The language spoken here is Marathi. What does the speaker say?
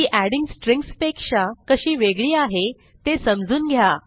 ती एडिंग स्ट्रिंग्ज पेक्षा कशी वेगळी आहे ते समजून घ्या